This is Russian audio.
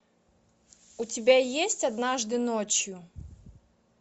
у тебя есть однажды ночью